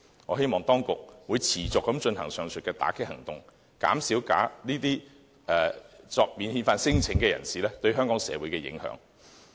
我希望當局持續進行上述打擊行動，減少這些免遣反聲請人士對香港社會的影響。